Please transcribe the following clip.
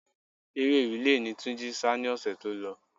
Eré rìle ni Túnjí sá ni ọ̀sẹ̀ tí ó lọ.